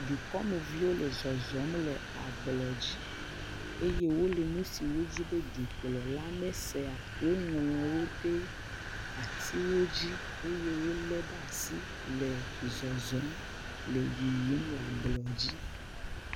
Dukɔmeviwo le zɔzɔm le ablɔdzi eye wole nu siwo wodzi be dukplɔla nesea, woŋlɔwo ɖe atiwo dzi eye wolé ɖe asi le zɔzɔm le yiyim le ablɔdzi.